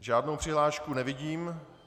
Žádnou přihlášku nevidím.